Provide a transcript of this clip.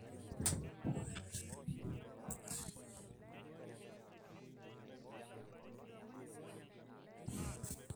taarai osimu oitayu ndaiki o nkulie moyiaritin e fungal nchoo etum enchalan nanare eton eitu ishum nincho enjipae ewosh